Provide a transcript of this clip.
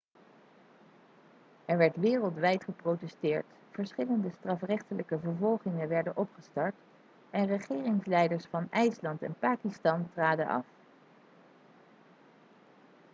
er werd wereldwijd geprotesteerd verschillende strafrechtelijke vervolgingen werden opgestart en de regeringsleiders van ijsland en pakistan traden af